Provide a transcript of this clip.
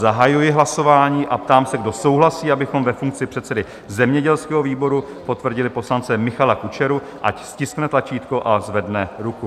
Zahajuji hlasování a ptám se, kdo souhlasí, abychom ve funkci předsedy zemědělského výboru potvrdili poslance Michala Kučeru, ať stiskne tlačítko a zvedne ruku.